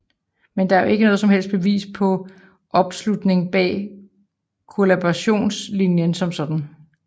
Men det er jo ikke noget som helst bevis på opslutning bag kollaborationslinjen som sådan